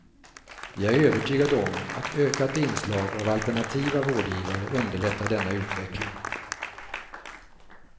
Vi är övertygade om att ökat inslag av alternativa vårdgivare underlättar denna utveckling.